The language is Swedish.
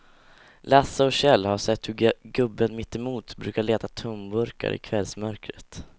Lasse och Kjell har sett hur gubben mittemot brukar leta tomburkar i kvällsmörkret.